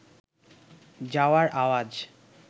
যাওয়ার আওয়াজ